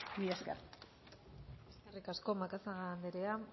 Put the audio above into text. mila esker eskerrik asko macazaga andrea